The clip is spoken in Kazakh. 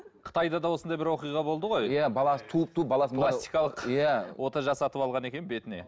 қытайды да осындай бір оқиға болды ғой иә бала туып туып баласын пластикалық иә ота жасатып алған екен бетіне